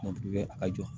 a jɔ